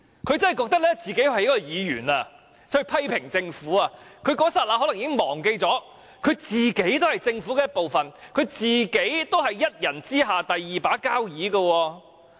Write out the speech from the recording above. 她真的以為自己是以議員的身份批評政府，在那一剎那可能已忘記她本身也是政府的一部分，是一人之下的"第二把交椅"。